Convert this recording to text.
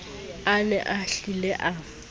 a ne a hlile a